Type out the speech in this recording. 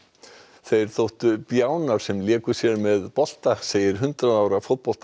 þeir þóttu bjánar sem léku sér með bolta segir hundrað ára